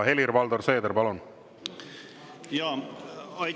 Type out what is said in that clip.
Helir-Valdor Seeder, palun!